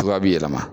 Cogoya bi yɛlɛma